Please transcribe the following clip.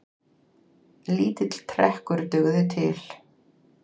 Lítill trekkur dugði til.